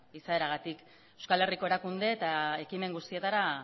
izaeragatik euskal herriko erakunde eta ekimen guztietara